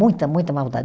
Muita, muita maldade.